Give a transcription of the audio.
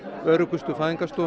öruggustu